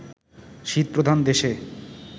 শীতপ্রধান দেশে